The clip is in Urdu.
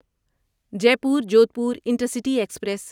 Jaipur Jodhpur intercity express